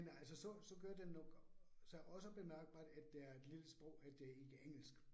Men altså så så gør den nok sig også bemærkbart, at det er et lille sprog, at det er ikke engelsk